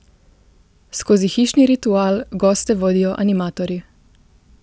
Skozi hišni ritual goste vodijo animatorji.